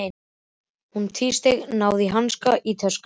Hún tvísteig, náði í hanska í töskunni.